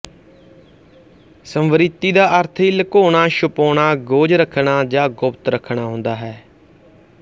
ਸੰਵ੍ਰਿਤੀ ਦਾ ਅਰਥ ਹੀ ਲੁਕਾਉਣਾ ਛੁਪਾਉਣਾ ਗੋਝ ਰੱਖਣਾ ਜਾਂ ਗੁਪਤ ਰੱਖਣਾ ਹੁੰਦਾ ਹੈ